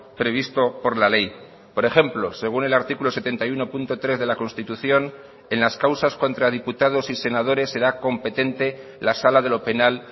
previsto por la ley por ejemplo según el artículo setenta y uno punto tres de la constitución en las causas contra diputados y senadores será competente la sala de lo penal